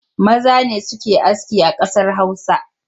Maza ne suke aski a ƙasar Hausa